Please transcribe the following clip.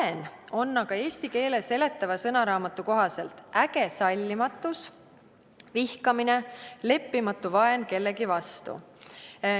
Vaen on eesti keele seletava sõnaraamatu kohaselt äge sallimatus ja vihkamine, leppimatu vaen kellegi vastu.